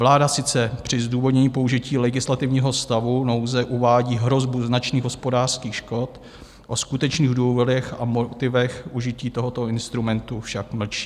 Vláda sice při zdůvodnění použití legislativního stavu nouze uvádí hrozbu značných hospodářských škod, o skutečných důvodech a motivech užití tohoto instrumentu však mlčí.